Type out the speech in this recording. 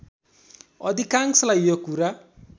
अधिकांशलाई यो कुरा